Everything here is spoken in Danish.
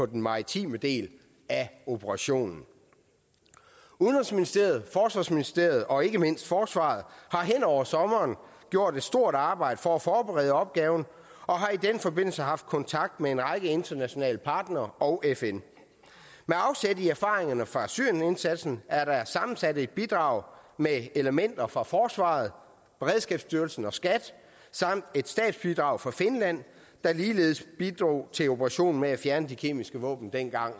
den maritime del af operationen udenrigsministeriet forsvarsministeriet og ikke mindst forsvaret har hen over sommeren gjort et stort arbejde for at forberede opgaven og har i den forbindelse haft kontakt med en række internationale partnere og fn med afsæt i erfaringerne fra syrienindsatsen er der sammensat et bidrag med elementer fra forsvaret beredskabsstyrelsen og skat samt et statsbidrag fra finland der ligeledes bidrog til operationen med at fjerne de kemiske våben dengang